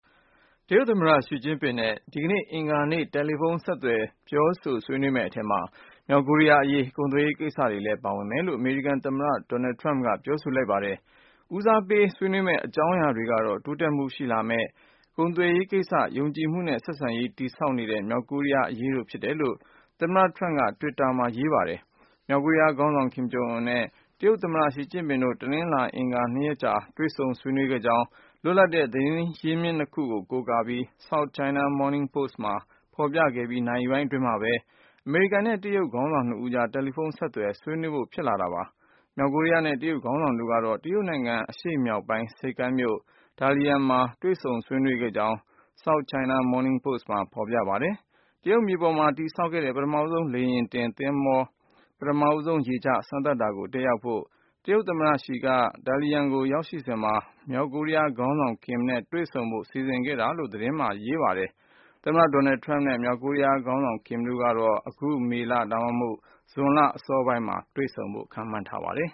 တရုတ် သမ္မတ ရှိကျင်းပင်နဲ့ ဒီကနေ့ အင်္ဂါနေ့ တယ်လီဖုန်း ဆက်သွယ် ပြောဆိုဖို့ စီစဉ်ထား ဆွေးနွေးမယ့်အထဲ မြောက်ကိုရီးယား အရေး၊ ကုန်သွယ်ရေး ကိစ္စတွေလည်း ပါဝင်မယ်လို့ အမေရိကန် သမ္မတ Donald Trump က ပြောဆိုလိုက်ပါတယ်။ ဦးစားပေး ဆွေးနွေးမယ့် အကြောင်းအရာတွေကတော့ တိုးတက်မှုတွေ ရှိလာမယ့် ကုန်သွယ်ရေး ကိစ္စ၊ ယုံကြည်မှုနဲ့ ဆက်ဆံရေး တည်ဆောက်နေတဲ့ မြောက်ကိုရီးယားအရေး တို့ ဖြစ်တယ်လို့ သမ္မတ Trump က တွစ်တာ လူမှုကွန်ယက်မှာ ရေးသားခဲ့ပါတယ်။ မြောက်ကိုရီးယား ခေါင်းဆောင် ကင်ဂျုံအွန်းနဲ့ တရုတ် သမ္မတ ရှီကျင်းပင်တို့ တနလာၤနဲ့ အင်္ဂါ နှစ်ရက်ကြာ တွေ့ဆုံ ဆွေးနွေးခဲ့ကြောင်း လွတ်လပ်တဲ့ သတင်းရင်းမြစ် နှစ်ခုကို ကိုးကားပြီး South China Mornign Post မှာ ဖော်ပြပြီး နာရီပိုင်း အတွင်းမှာဘဲ အမေရိကန်နဲ့ တရုတ် ခေါင်းဆောင် နှစ်ဦးကြား တယ်လီဖုန်း ဆက်သွယ် ဆွေးနွေးဖို့ ဖြစ်လာတာပါ။ မြောက်ကိုရီးယား နဲ့ တရုတ် ခေါင်းဆောင်တို့ကတော့ တရုတ်နိုင်ငံ အရှေ့မြောက်ပိုင်း ဆိပ်ကမ်းမြို့ Dalian မှာ တွေ့ဆုံဆွေးနွေးခဲ့ကြကြောင်း South China Morning Post မှာ ဖော်ပြပါတယ်။ တရုတ်မြေပေါ်မှာ တည်ဆောက်ခဲ့တဲ့ ပထမဆုံး လေယာဉ်တင်သဘောၤ ပထမဆုံး ရေချ စမ်းသပ်တာကို တက်ရောက်ဖို့ တရုတ် သမ္မတ Xi က Dalian ကို ရောက်ရှိနေစဉ်မှာ မြောက်ကိုရီးယား ခေါင်းဆောင် ကင်နဲ့ တွေ့ဆုံဖို့ စီစဉ်ခဲ့တာလို့လည်း သတင်းမှာ ဖော်ပြထားပါတယ်။ အမေရိကန် သမ္မတ Trump နဲ့ မြောက်ကိုရီးယား ခေါင်းဆောင် ကင်တို့ အခု မေလ ဒါမှမဟုတ် ဇွန်လ အစောပိုင်းမှာ တွေ့ဆုံဆွေးနွေးမယ်လို့ ခန့်မှန်းထားရပါတယ်။